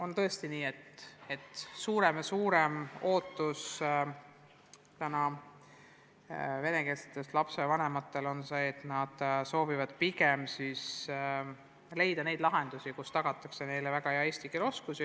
Ja tõesti on nii, et venekeelsete lapsevanemate suur ootus on see, et leitaks lahendusi, mis tagavad nende lastele väga hea eesti keele oskuse.